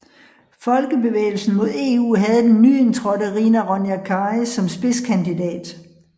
Folkebevægelsen mod EU havde den nyindtrådte Rina Ronja Kari som spidskandidat